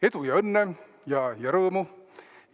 Edu ja õnne ja rõõmu!